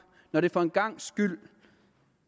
når der for en gangs skyld